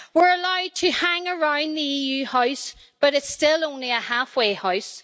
We're allowed to hang around the EU house, but it's still only a half way house.